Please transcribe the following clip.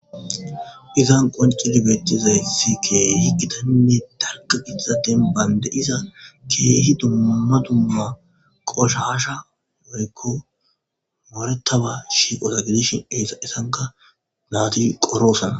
izan qoncidi beettizaysi keeh hikitaninne darka pizaten baynde iza keehi dumma dumma qoshasha moyykko mooretaba shiiqota gidishin esaessanka naati qoroosana